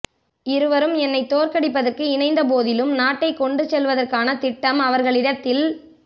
இருவரும் என்னை தோற்கடிப்பதற்கு இணைந்த போதிலும் நாட்டை கொண்டுசெல்வதற்கான திட்டம் அவர்களிடத்தில்